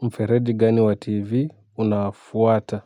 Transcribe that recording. Mfereji gani wa tv unaofuata